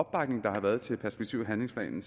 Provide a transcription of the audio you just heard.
har været til perspektiv og handlingsplanen